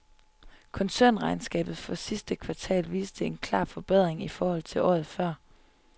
Koncernregnskab for sidste kvartal viste en klar forbedring i forhold til året før.